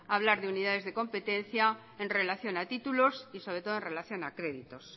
hablar de unidades de competencia en relación a títulos y sobre todo en relación a créditos